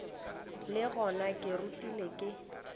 le gona ke rutegile ke